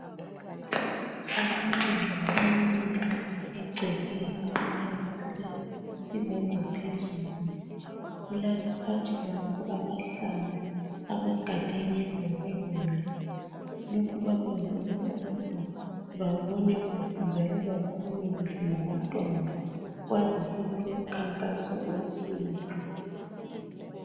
Abantwana bamike egcekeni baphakamisele izandla phezulu kulabaphathi babo abahlanu abagade phakathi kweloli lokhu bakwenzela ukuze babonekuhle njalo bakhulume kuhle labantwana kwazi sokulo mkhankaso othile